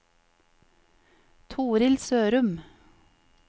Torhild Sørum